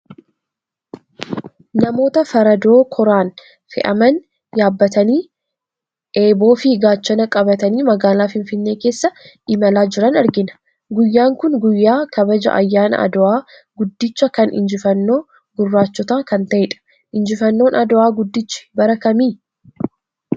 Namoota Faradoo kooraan fe'aman yaabbatanii eeboo fi gaachana qabatanii magaalaa Finfinnee keessa imalaa jiran argina. Guyyaan kun guyyaa kabaja ayyaana Adowaa guddicha kan injifannoo gurraachotaa kan ta'edha. Injifannoon Adowaa guddichi bara kami?